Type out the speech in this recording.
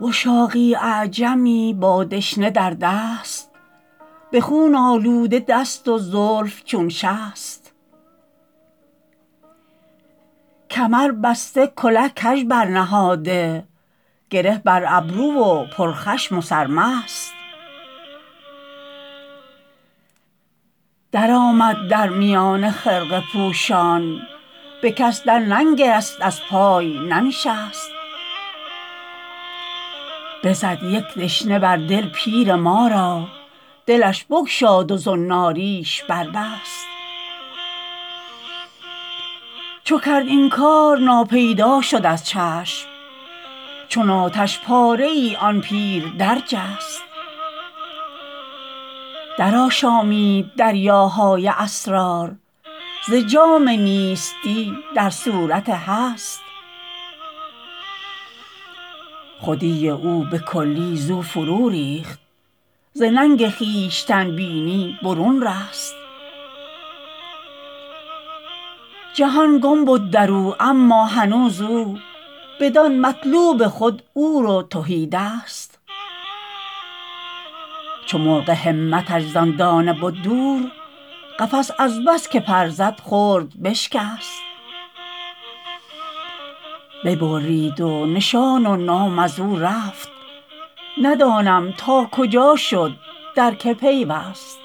وشاقی اعجمی با دشنه در دست به خون آلوده دست و زلف چون شست کمر بسته کله کژ برنهاده گره بر ابرو و پر خشم و سرمست درآمد در میان خرقه پوشان به کس در ننگرست از پای ننشست بزد یک دشته بر دل پیر ما را دلش بگشاد و زناریش بربست چو کرد این کار ناپیدا شد از چشم چون آتش پاره ای آن پیر در جست درآشامید دریاهای اسرار ز جام نیستی در صورت هست خودی او به کلی زو فرو ریخت ز ننگ خویشتن بینی برون رست جهان گم بد درو اما هنوز او بدان مطلوب خود عور و تهی دست چو مرغ همتش زان دانه بد دور قفس از بس که پر زد خرد بشکست ببرید و نشان و نام از او رفت ندانم تا کجا شد در که پیوست